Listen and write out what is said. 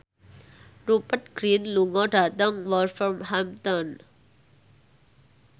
Rupert Grin lunga dhateng Wolverhampton